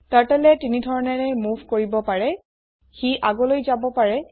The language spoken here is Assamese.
Turtleএ তিনিধৰণেৰে মোভ কৰিব পাৰে সি আগলৈ যাব পাৰে